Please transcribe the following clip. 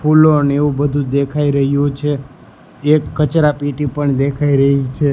ફૂલો અને એવું બધું દેખાય રહ્યું છે એક કચરાપેટી પણ દેખાય રહી છે.